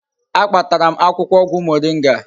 A kpatara m akwukwo ogwu moringa